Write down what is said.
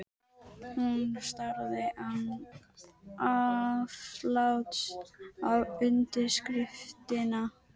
Hún starði án afláts á undirskriftina.